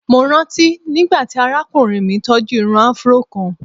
Mo ranti nigbati arakunrin mi tọju irun afro kan.